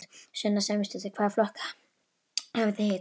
Sunna Sæmundsdóttir: Hvaða flokka hafið þið hitt?